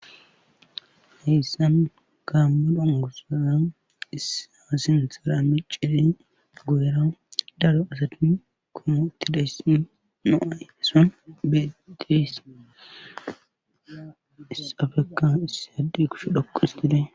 heyssan kaammu dangusaza issa sinthora miciri goera daro asati komotidayssi no7ayeso betes issafeka iss addi kush dhoqois tidee